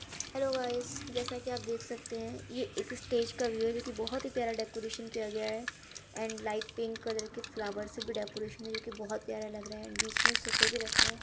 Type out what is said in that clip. Hello guys जैसा कि आप देख सकते हैं ये एक स्टेज का व्यू है जो कि बहोत ही प्यारा डेकोरेशन किया गया है एंड लाइट पिंक कलर के फ्लावर्स से भी डेकोरेशन है जो कि बहोत प्यारा लग रहा है और बीच में सोफे भी रखे हैं।